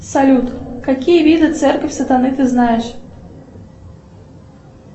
салют какие виды церковь сатаны ты знаешь